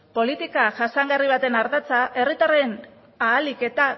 politika jasangarri baten ardatza herritarren ahalik eta